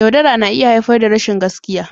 Yaudara na iya haifar da rashin gaskiya.